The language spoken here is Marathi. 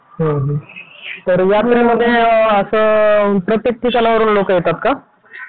हुं हुं तर यात्रेमध्ये असं प्रत्येक ठिकानावरून लोकं येतात का?